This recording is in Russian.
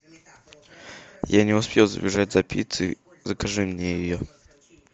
я не успел забежать за пиццей закажи мне ее